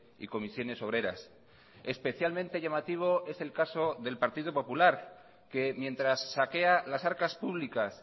y comisiones obreras especialmente llamativo es el caso del partido popular que mientras saquea las arcas públicas